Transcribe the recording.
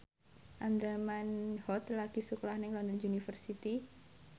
Andra Manihot lagi sekolah nang London University